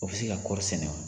O bɛ se ka kɔɔri sɛnɛ wa?